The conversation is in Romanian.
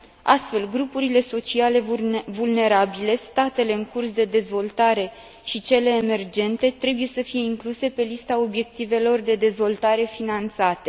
Astfel, grupurile sociale vulnerabile, statele în curs de dezvoltare și cele emergente trebuie să fie incluse pe lista obiectivelor de dezvoltare finanțate.